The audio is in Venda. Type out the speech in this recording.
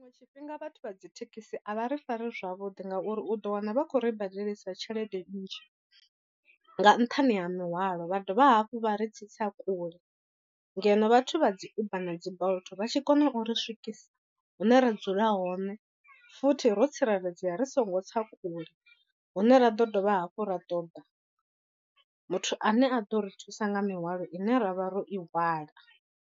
Tshiṅwe tshifhinga vhathu vha dzi thekhisi a vha ri fari zwavhuḓi ngauri u ḓo wana vha khou ri badelisa tshelede nnzhi nga nṱhani ha mihwalo vha dovha hafhu vha ri tsitsa kule. Ngeno vhathu vha dzi uber na dzi bolt vha tshi kona u ri swikisa hune ra dzula hone futhi ro tsireledzea ri songo tsa kule hune ra ḓo dovha hafhu ra ṱoḓa muthu ane a ḓo ri thusa nga mihwalo ine ra vha ro i hwala.